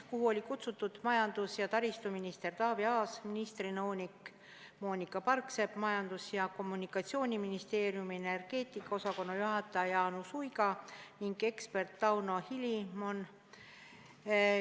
Kutsutud olid majandus- ja taristuminister Taavi Aas, ministri nõunik Moonika Parksepp, Majandus- ja Kommunikatsiooniministeeriumi energeetika osakonna juhataja Jaanus Uiga ning ekspert Tauno Hilimon.